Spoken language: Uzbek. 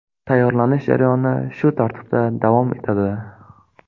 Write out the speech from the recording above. Tayyorlanish jarayoni shu tartibda davom etadi.